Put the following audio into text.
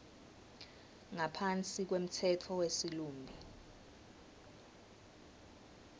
ngaphansi kwemtsetfo wesilumbi